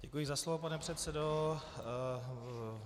Děkuji za slovo, pane předsedo.